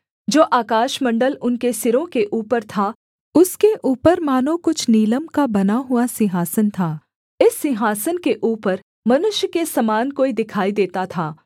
जो आकाशमण्डल उनके सिरों के ऊपर था उसके ऊपर मानो कुछ नीलम का बना हुआ सिंहासन था इस सिंहासन के ऊपर मनुष्य के समान कोई दिखाई देता था